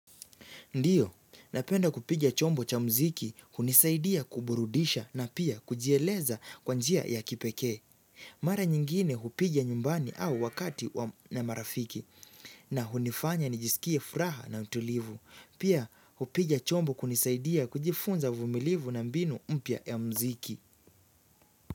Ndiyo, napenda kupiga chombo cha muziki, hunisaidia kuburudisha na pia kujieleza kwa njia ya kipekee. Mara nyingine hupiga nyumbani au wakati na marafiki na hunifanya nijisikie furaha na utulivu. Pia hupiga chombo kunisaidia kujifunza uvumilivu na mbinu mpya ya muziki.